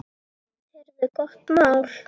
Heyrðu, gott mál!